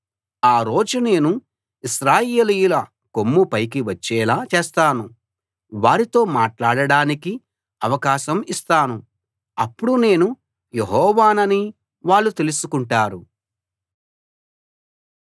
ఆ రోజు నేను ఇశ్రాయేలీయుల కొమ్ము పైకి వచ్చేలా చేస్తాను వారితో మాట్లాడడానికి అవకాశం ఇస్తాను అప్పుడు నేను యెహోవానని వాళ్ళు తెలుసుకుంటారు